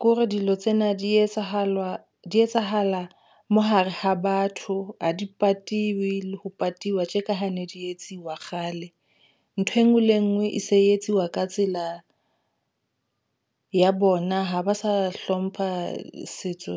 kore dilo tsena di etsahala di etsahala, mohare ha ba batho ha di patiwe le ho patiwa tje ka ha ne di etsuwa kgale. Ntho enngwe le enngwe e se etsiwa ka tsela ya bona. Ha ba sa hlompha setso.